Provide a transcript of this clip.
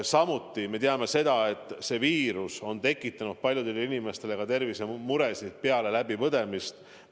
Samuti me teame, et see viirus on tekitanud paljudele inimestele suuri tervisemuresid ka peale haiguse läbipõdemist.